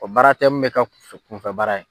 O baara tɛ mun bɛ kɛ kunfɛ kunfɛ baara ye.